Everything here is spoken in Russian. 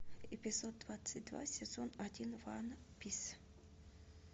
эпизод двадцать два сезон один ван пис